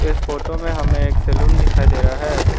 इस फोटो में हमें एक सैलून दिखाई दे रहा है।